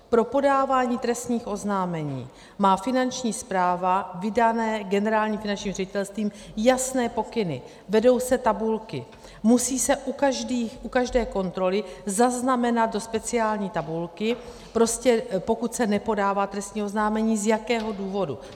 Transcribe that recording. Pro podávání trestních oznámení má Finanční správa vydané Generálním finančním ředitelstvím jasné pokyny, vedou se tabulky, musí se u každé kontroly zaznamenat do speciální tabulky, prostě pokud se nepodává trestní oznámení, z jakého důvodu.